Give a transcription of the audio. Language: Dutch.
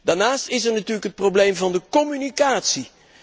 Daarnaast is er natuurlijk het probleem van de communicatie.